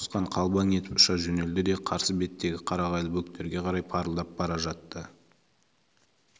сауысқан қалбаң етіп ұша жөнелді де қарсы беттегі қарағайлы бөктерге қарай парылдап бара жатты